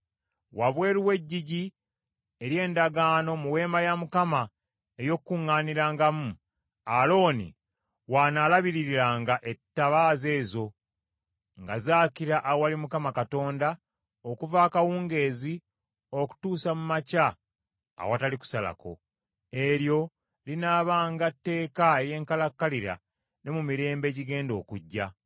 Wabweru w’Eggigi ery’Endagaano mu Weema ey’Okukuŋŋaanirangamu, Alooni w’anaalabiririranga ettabaaza ezo nga zaakira awali Mukama Katonda okuva akawungeezi okutuusa mu makya awatali kusalako. Eryo linaabanga tteeka ery’enkalakkalira ne mu mirembe egigenda okujja.